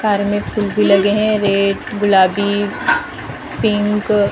Car में फुल भी लगे हैं रेड गुलाबी पिंक ।